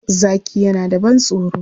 Zaki yana da ban-tsoro.